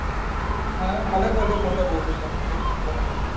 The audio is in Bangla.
হ্যাঁ ভালোই করলি phone করলি কতদিন ফোন করা হয় নি